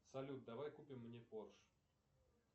салют давай купим мне порш